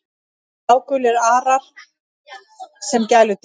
Blágulir arar sem gæludýr